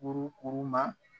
Kurukuru ma